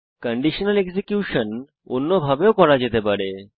conditional execution অন্যভাবে ও করা যেতে পারে